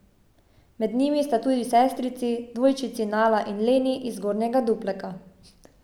Med njimi sta tudi sestrici, dvojčici Nala in Leni iz Zgornjega Dupleka.